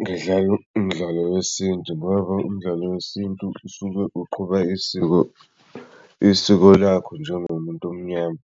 ngidlala umdlalo wesintu ngoba umdlalo wesintu usuke uqhuba isiko, isiko lakho njengomuntu omnyama.